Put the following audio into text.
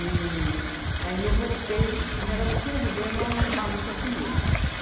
E aí eu voltei, já era no fim do governo, logo Maluf sumiu.